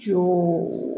Co